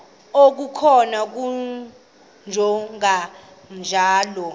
okukhona wamjongay ngaloo